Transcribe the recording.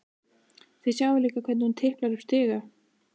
Þið sjáið líka hvernig hún tiplar upp stiga.